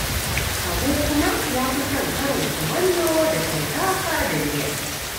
Habu kuma ya fi son karin kumallo da shinkafa da miya